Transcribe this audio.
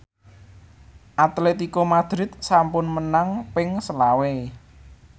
Atletico Madrid sampun menang ping selawe